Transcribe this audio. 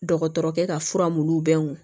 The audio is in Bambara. Dɔgɔtɔrɔkɛ ka fura mu bɛ mun